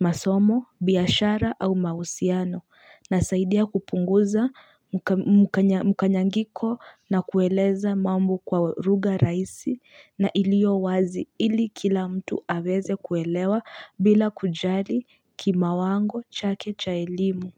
masomo, biashara au mahusiano inasaidia kupunguza mukanyangiko na kueleza mambo kwa lugha rahisi na iliyowazi ili kila mtu aweze kuelewa bila kujali kimawango chake cha elimu.